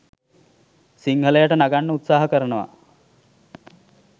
සිංහලයට නගන්න උත්සහ කරනවා